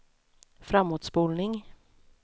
framåtspolning